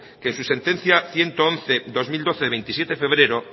que en su sentencia ciento once barra dos mil doce de veintisiete febrero